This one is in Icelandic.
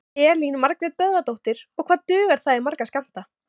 Elín Margrét Böðvarsdóttir: Og hvað dugar það í marga skammta?